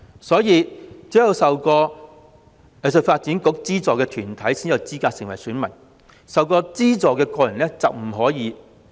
所以，只有受過香港藝術發展局資助的藝團才有資格成為選民，曾受資助的個人則不可以。